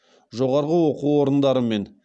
жоғарғы оқу орындарымен